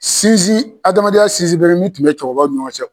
Sinzin adamadenya sinzin bere min tun bɛ cɛkɔrɔbaw ni ɲɔgɔn cɛ.